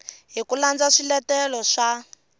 hi ku landza swiletelo swa